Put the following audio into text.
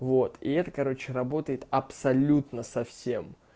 вот и это короче работает абсолютно со всем